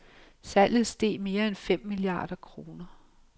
Salget steg mere end fem milliarder kroner.